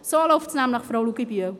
So läuft es nämlich, Frau Luginbühl.